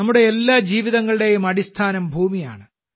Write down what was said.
നമ്മുടെ എല്ലാ ജീവിതങ്ങളുടെയും അടിസ്ഥാനം ഭൂമിയാണ്